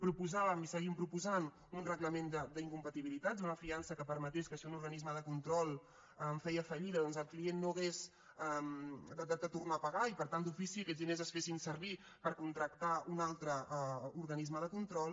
proposàvem i seguim proposant un reglament d’incompatibilitats una fiança que permetés que si un organisme de control feia fallida doncs el client no hagués de tornar a pagar i per tant d’ofici aquests diners es fessin servir per contractar un altre organisme de control